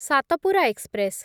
Satpura express